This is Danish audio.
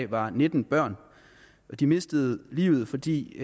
var nitten børn de mistede livet fordi